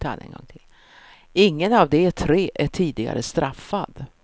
Ingen av de tre är tidigare straffad.